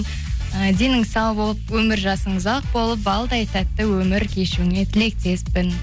і денің сау болып өмір жасың ұзак болып балдай тәтті өмір кешуіңе тілектеспін